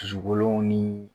Dusukolow ni